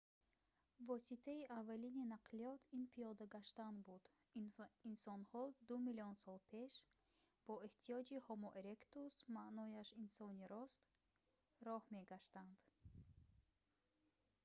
воситаи аввалини нақлиёт ин пиёда гаштан буд инсонҳо ду миллион сол пеш бо эҳтиёҷоти ҳомо еректус маънояш инсони рост роҳ мегаштанд